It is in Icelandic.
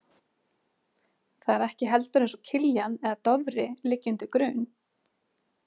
Það er ekki heldur eins og Kiljan eða Dofri liggi undir grun.